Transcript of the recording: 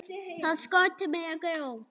Það skorti meira grjót.